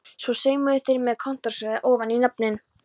Svo saumuðu þær með kontórsting ofan í nöfnin.